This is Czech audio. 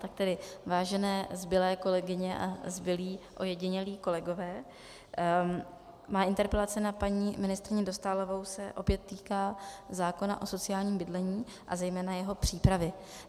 Tak tedy vážené zbylé kolegyně a zbylí ojedinělí kolegové, má interpelace na paní ministryni Dostálovou se opět týká zákona o sociálním bydlení a zejména jeho přípravy.